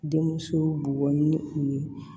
Denmusow bugɔ ni u ye